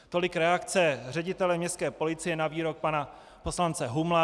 Tolik reakce ředitele městské policie na výrok pana poslance Humla.